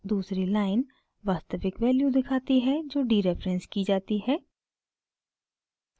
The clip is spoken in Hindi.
दूसरी लाइन वास्तविक वैल्यू दिखाती है जो डीरेफरेंस की जाती है